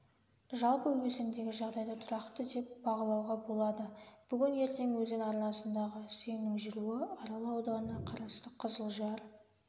жалпы өзендегі жағдайды тұрақты деп бағалауға болады бүгін-ертең өзен арнасындағы сеңнің жүруі арал ауданына қарасты қызылжар